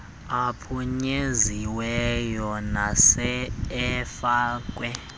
aphunyeziweyo nasele efakwe